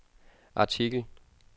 artikel